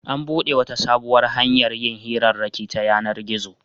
An buɗe wata sabuwar hanyar yin hirarraki ta yanar-gizo.